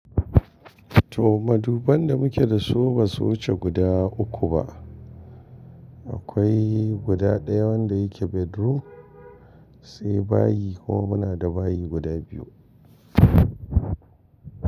To maduban da muke da su basu wuce guda uku ba akwai guda ɗaya wanda yake bedroom, sai bayi kuma muna da bayi guda biyu.